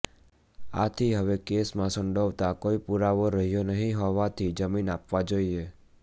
આથી હવે કેસમાં સંડોવતા કોઈ પુરાવો રહ્યો નહીં હોવાથી જામીન આપવા જોઈએ